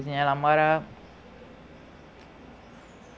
Terezinha ela morava